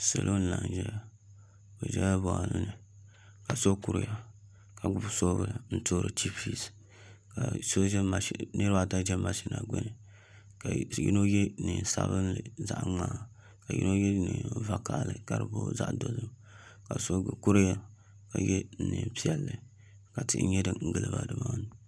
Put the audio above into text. Salo n laɣam ʒɛya bi ʒɛla boɣali ni ka so kuriya ka gbuni soobuli n toori chipis ka niraba ata ʒɛ mashin maa gbuni ka yino yɛ neen sabinli zaɣ ŋmaa ka yino yɛ neen vakaɣali ka di booi zaɣ dozim ka so kuriya ka yɛ neen piɛlli ka tihi nyɛ din giliba nimaani